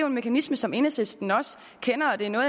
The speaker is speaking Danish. en mekanisme som enhedslisten også kender og det er noget